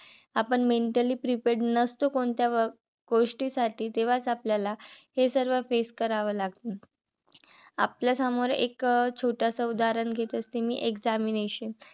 आपण mentally prepared नसतो कोणत्या गोष्टीसाठी. तेव्हाच आपल्याला हे सर्व face कराव लागत. आपल्या समोर एक छोटस उदाहरण घेत असते मी examination